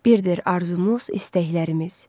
Birdir arzumuz, istəklərimiz.